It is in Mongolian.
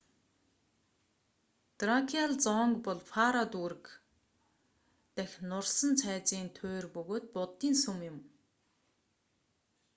дракиал зонг бол паро дүүрэг фондий тосгоны дахь нурсан цайзын туйр бөгөөд буддын сүм юм